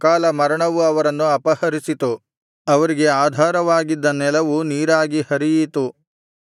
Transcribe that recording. ಅಕಾಲ ಮರಣವು ಅವರನ್ನು ಅಪಹರಿಸಿತು ಅವರಿಗೆ ಆಧಾರವಾಗಿದ್ದ ನೆಲವು ನೀರಾಗಿ ಹರಿಯಿತು